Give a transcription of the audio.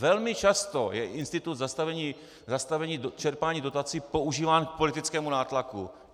Velmi často je institut zastavení čerpání dotací používán k politickému nátlaku.